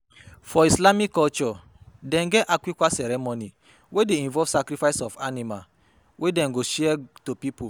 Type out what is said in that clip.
For islamic culture dem get Aqiqah ceremony wey de involve sacrifice of animal wey dem go share to pipo